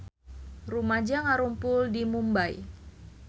Rumaja ngarumpul di Mumbay